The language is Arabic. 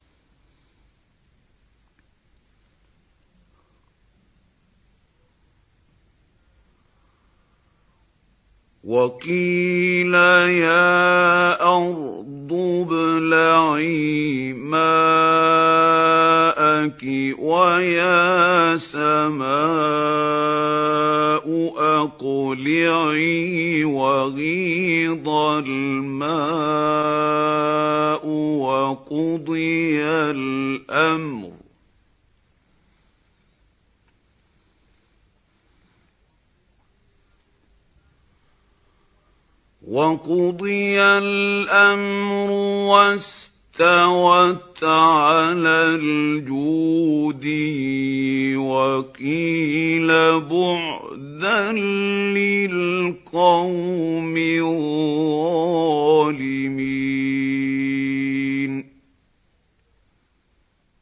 وَقِيلَ يَا أَرْضُ ابْلَعِي مَاءَكِ وَيَا سَمَاءُ أَقْلِعِي وَغِيضَ الْمَاءُ وَقُضِيَ الْأَمْرُ وَاسْتَوَتْ عَلَى الْجُودِيِّ ۖ وَقِيلَ بُعْدًا لِّلْقَوْمِ الظَّالِمِينَ